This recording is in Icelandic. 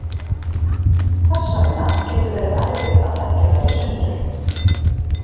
Þess vegna getur verið erfitt að þekkja þær í sundur.